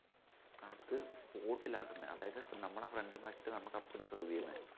അത് spot ലാ ആക്കുന്നേ അതായത് ഇപ്പൊ നമ്മടെ front ആക്കീട്ട് അപ്പടി serve ചെയ്യുന്നേ